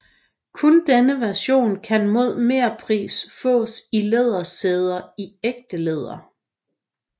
Kun denne version kan mod merpris fås med lædersæder i ægte læder